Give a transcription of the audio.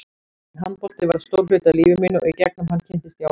Handbolti varð stór hluti af lífi mínu og í gegnum hann kynntist ég áfengi.